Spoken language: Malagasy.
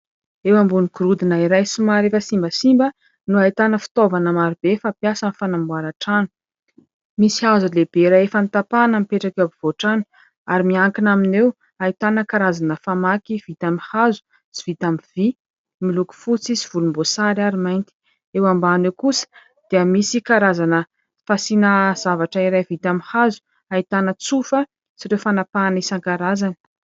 Eo ambony gorodona iray somary efa simbasimba no ahitana fitaovana maro be fampiasa amin'ny fanamboaran-trano. Misy hazo lehibe iray efa notapahana mipetraka eo ampovoan-trano, ary miankina aminy eo ahitana karazana famaky vita amin'ny hazo sy vita amin'ny vy miloko fotsy sy volomboasary ary mainty. Eo ambany eo kosa dia misy karazana fasiana zavatra iray vita amin'ny hazo, ahitana tsofa sy ireo fanapahana isan-karazany.